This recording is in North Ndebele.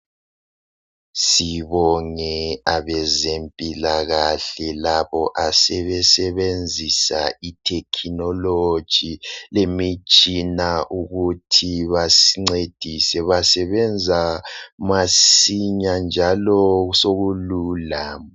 Sibone abezempilakahle, labo asebesebenzisa itechnology. Imitshina ukuthi basincedise. Basebenza masinya, njalo sokulula.